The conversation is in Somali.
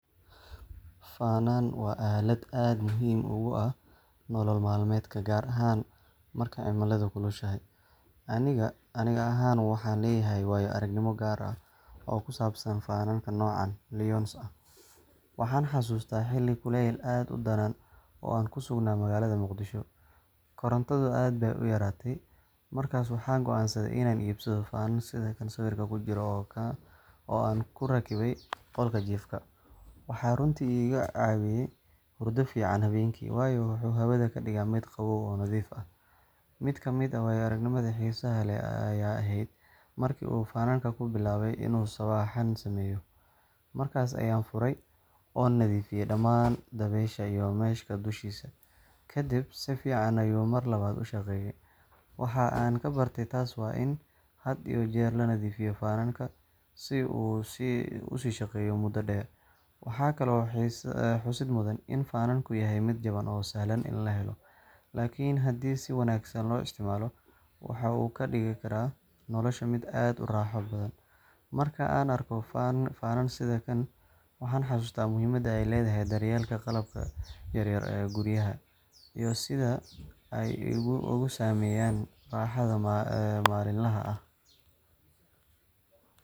Fanaan waa aalad aad muhiim ugu ah nolol maalmeedka, gaar ahaan marka cimiladu kulushahay. Aniga ahaan, waxaan leeyahay waayo aragnimo gaar ah oo ku saabsan fanaankan nooca LYONS ah. Waxaan xasuustaa xilli kuleyl aad u daran oo aan ku sugnaa magaalada Muqdisho. Korontadu aad bay u yaraatay, markaas waxaan go’aansaday inaan iibsado fanaan sida kan sawirka ku jira oo aan ku rakibay qolka jiifka. Waxaa runtii iga caawiyay hurdo fiican habeenkii, waayo wuxuu hawada ka dhigaa mid qabow oo nadiif ah. Mid ka mid ah waayo-aragnimada xiisaha leh ayaa ahayd markii uu fanaan-ku bilaabay inuu sawaxan sameeyo. Markaas ayaan furay, oo nadiifiyay dhamaan dabeysha iyo mesh-ka dushiisa, kadibna si fiican ayuu mar labaad u shaqeeyay. Waxa aan ka bartay taas waa in had iyo jeer la nadiifiyo fanaanka, si uu u sii shaqeeyo muddo dheer. Waxaa kaloo xusid mudan in fanaanku yahay mid jaban oo sahlan in la helo, laakiin haddii si wanaagsan loo isticmaalo, wuxuu ka dhigi karaa nolosha mid aad u raaxo badan. Marka aan arko fanaan sida kan, waxaan xasuustaa muhiimada ay leedahay daryeelka qalabka yaryar ee guryaha, iyo sida ay u saameeyaan raaxada maalinlaha ah.